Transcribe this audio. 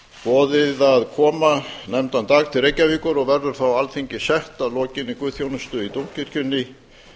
boðið að koma nefndan dag til reykjavíkur og verður þá alþingi sett að lokinni guðsþjónustu í dómkirkjunni